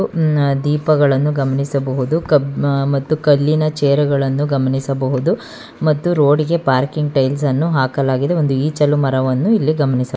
ದೀಪಗಳನ್ನು ಗಮನಿಸಬಹುದು ಕಬ್ ಕಲ್ಲಿನ ಚೇರ್ ಗಳನ್ನು ಗಮನಿಸಬಹುದು ಮತ್ತು ರೋಡಿಗೆ ಪಾರ್ಕಿಂಗ್ ಟೈಲ್ಸ್ ಅನ್ನು ಹಾಕಲಾಗಿದೆ ಒಂದು ಈಚಲ ಮರವನ್ನು ಇಲ್ಲಿ ಗಮನಿಸಬಹುದು.